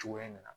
Cogoya min na